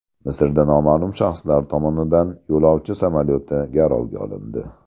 Misrda noma’lum shaxslar tomonidan yo‘lovchi samolyoti garovga olindi.